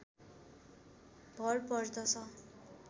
भर पर्दछ